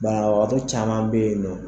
Banabagatɔ caman bɛ ye nɔ.